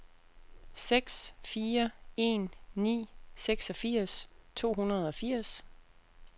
seks fire en ni seksogfirs to hundrede og firs